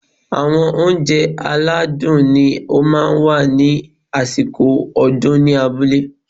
Àwọn óunjẹ aládùn ni ó máa ń wà ní àsìkò ọdún ní abúlé